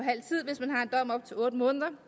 op til otte måneder